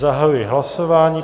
Zahajuji hlasování.